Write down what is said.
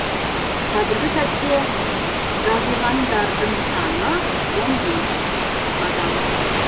қазіргі сәтте жазылғандардың саны адам